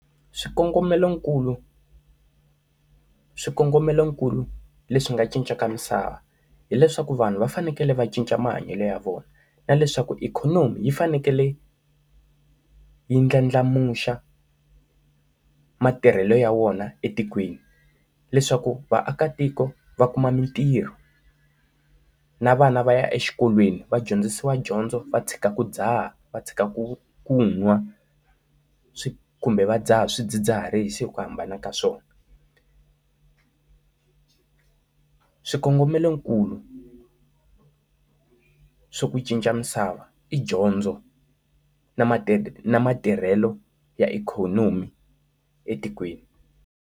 Swikongomelokulu, swikongomelokulu leswi nga cinca ka misava hileswaku vanhu va fanekele va cinca mahanyelo ya vona na leswaku ikhonomi yi fanekele yi ndlandlamuxa matirhelo ya wona etikweni leswaku vaakatiko va kuma mintirho, na vana va ya exikolweni va dyondzisiwa dyondzo va tshika ku dzaha va tshika ku ku nwa swi kumbe va dzaha swidzidziharisi ku hambana ka swona. Swikongomelokulu swa ku cinca misava i dyondzo na ma ti na matirhelo ya ikhonomi etikweni.